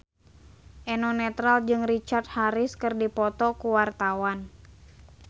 Eno Netral jeung Richard Harris keur dipoto ku wartawan